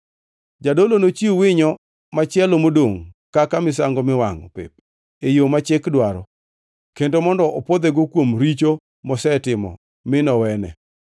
Jadolo nochiw winyo machielo modongʼ kaka misango miwangʼo pep e yo ma chik dwaro kendo mondo opwodhego kuom richo mosetimo mi nowene.